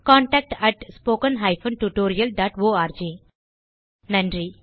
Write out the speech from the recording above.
contact at spoken hyphen tutorial dot org நன்றி